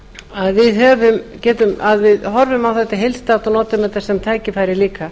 að við horfum á þetta heildstætt og notum þetta sem tækifæri líka